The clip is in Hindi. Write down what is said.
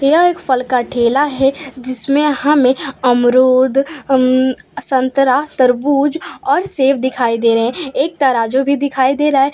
यह एक फल का ठेला है जिसमें हमें अमरूद अम् संतरा तरबूज और सेब दिखाई दे रहे हैं एक तराजू भी दिखाई दे रहा है।